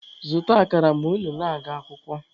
Zụta akara ma unu na-aga akwụkwọ!